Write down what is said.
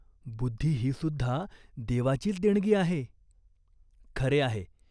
बुद्धी हीसुद्धा देवाचीच देणगी आहे." "खरे आहे.